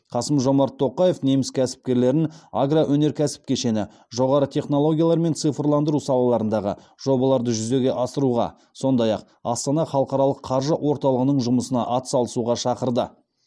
қасым жомарт тоқаев неміс кәсіпкерлерін агроөнеркәсіп кешені жоғары технологиялар мен цифрландыру салаларындағы жобаларды жүзеге асыруға сондай ақ астана халықаралық қаржы орталығының жұмысына атсалысуға шақырды